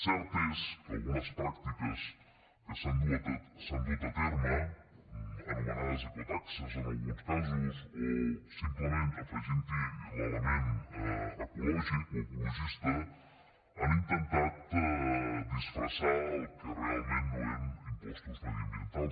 cert és que algunes pràctiques que s’han dut a terme anomenades ecotaxes en alguns casos o simplement afeginthi l’element ecològic o ecologista han intentat disfressar el que realment no eren impostos mediambientals